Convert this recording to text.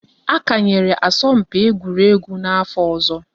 A kanyera asọmpi egwuregwu n'afọ ọzọ